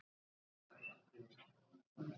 Hrund: Verðurðu aldrei hrædd í rólunni?